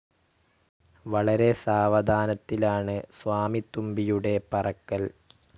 വളരെ സാവധാനത്തിലാണ് സ്വാമിത്തുമ്പിയുടെ പറക്കൽ.